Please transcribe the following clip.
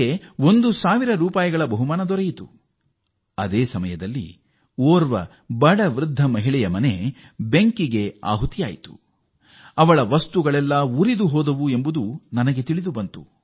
ಅವರಿಗೆ ಈ ಬಹುಮಾನ ಬಂದಾಗ ಒಬ್ಬರು ಬಡ ವೃದ್ಧೆ ಅವರ ಮನೆಯಲ್ಲಿ ಉಂಟಾದ ಅಗ್ನಿ ದುರಂತದಲ್ಲಿ ಮನೆಯಲ್ಲಿದ್ದ ಎಲ್ಲ ವಸ್ತುಗಳನ್ನೂ ಕಳೆದುಕೊಂಡಿದ್ದರು